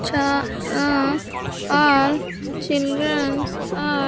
all children's are--